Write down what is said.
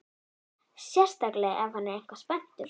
Sérstaklega ef hann er eitthvað spenntur.